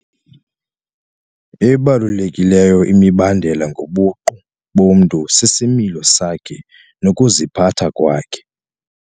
Ebalulekileyo imibandela ngobuqu bomntu sisimilo sakhe nokuziphatha kwakhe.